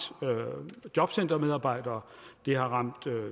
jobcentermedarbejdere det har ramt